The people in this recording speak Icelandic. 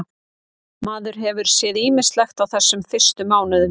Maður hefur séð ýmislegt á þessum fyrstu mánuðum.